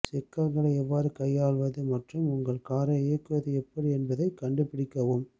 சிக்கல்களை எவ்வாறு கையாள்வது மற்றும் உங்கள் காரை இயக்குவது எப்படி என்பதைக் கண்டுபிடிக்கவும்